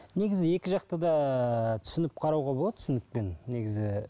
негізі екі жақты да түсініп қарауға болады түсінікпен негізі